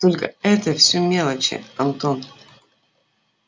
только это все мелочи антон